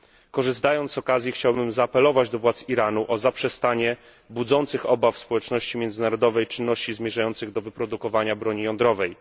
Korzystając z okazji, chciałbym zaapelować do władz Iranu o zaprzestanie budzących obawy społeczności międzynarodowej czynności zmierzających do wyprodukowania broni jądrowej.